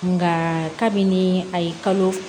Nka kabini a ye kalo